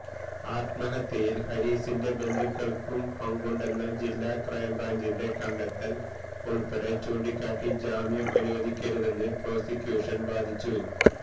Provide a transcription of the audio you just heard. ആത്മഹത്യയിൽ ഹാരീസിന്റെ ബന്ധുക്കൾക്കും പങ്കുണ്ടെന്ന ജില്ലാ ക്രൈംബ്രാഞ്ചിന്റെ കണ്ടെത്തൽ ഉൾപ്പടെ ചൂണ്ടിക്കാട്ടി ജാമ്യം അനുവദിക്കരുതെന്ന് പ്രോസിക്യൂഷൻ വാദിച്ചു